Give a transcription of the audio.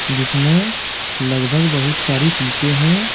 जिसमें लगभग बहुत सारी सीटें हैं।